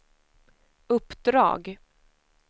uppdrag